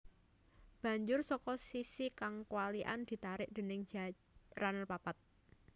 Banjur saka sisi kang kwalikan ditarik déning jaran papat